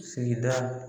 Sigida